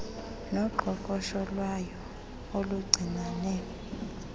noqoqosho lwayo oluncinane